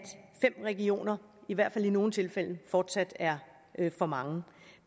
fem regioner i hvert fald i nogle tilfælde fortsat er for mange